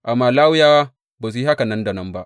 Amma Lawiyawa ba su yi haka nan da nan ba.